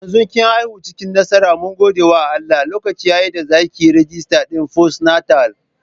Yanzu kin aifu cikin nasara mun gode wa Allah, lokaci yayi da zakayi rijistar din fostnatal